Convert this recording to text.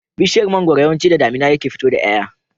Bishiyar mangwaro yawanci da damina take fito da y'ay'a